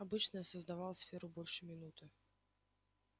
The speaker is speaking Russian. обычно я создавал сферу больше минуты